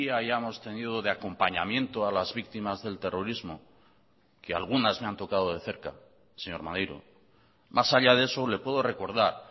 hayamos tenido de acompañamiento a las víctimas del terrorismo que algunas me han tocado de cerca señor maneiro más allá de eso le puedo recordar